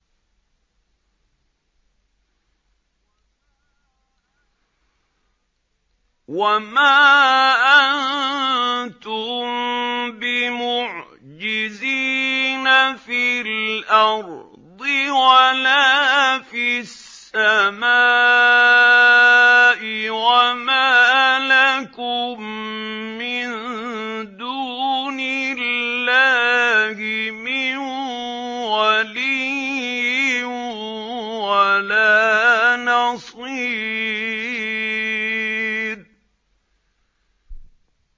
وَمَا أَنتُم بِمُعْجِزِينَ فِي الْأَرْضِ وَلَا فِي السَّمَاءِ ۖ وَمَا لَكُم مِّن دُونِ اللَّهِ مِن وَلِيٍّ وَلَا نَصِيرٍ